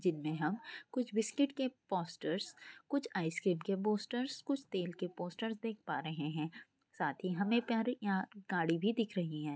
जिनमे हम कुछ बिस्किट के पोस्टर्स कुछ आइस क्रीम के पोस्टर्स कुछ तेल के पोस्टर्स देख परे है साथ ही हमें यहाँ गाड़ी भी दिख रही है।